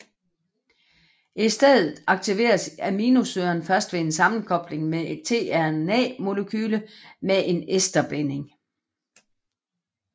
I stedet aktiveres aminosyren først ved sammenkobling med et tRNAmolekyle med en esterbinding